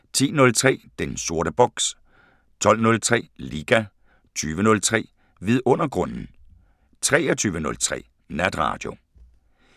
10:03: Den sorte boks 12:03: Liga 20:03: Vidundergrunden 23:03: Natradio